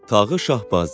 Tağı Şahbazi.